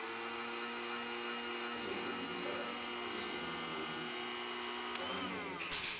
ezokhulisa uzulu ngangingeke